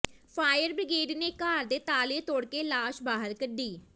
fire brigade ਨੇ ਘਰ ਦੇ ਤਾਲੇ ਤੋੜ ਕੇ ਲਾਸ਼ ਬਾਹਰ ਕੱਢੀ